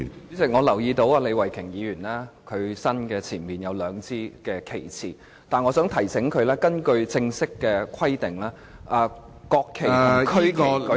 主席，我留意到李慧琼議員身前有兩支旗幟，但我想提醒她，根據正式的規定，國旗和區旗舉起時......